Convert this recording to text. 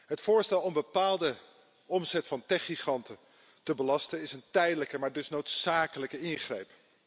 Het voorstel om bepaalde omzet van techgiganten te belasten, is een tijdelijke maar dus noodzakelijke ingreep.